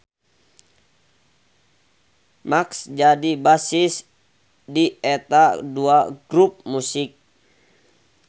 Mark jadi bassis di eta dua grup musik.